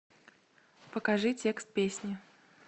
покажи текст песни